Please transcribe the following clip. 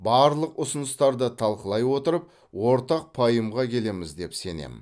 барлық ұсыныстарды талқылай отырып ортақ пайымға келеміз деп сенемін